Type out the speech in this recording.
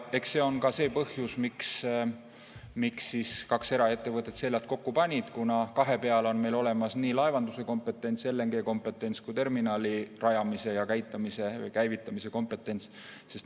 Eks see on ka põhjus, miks kaks eraettevõtet seljad kokku panid, kuna kahe peale on meil olemas nii laevanduse kompetents, LNG‑kompetents kui terminali rajamise ja käivitamise kompetents.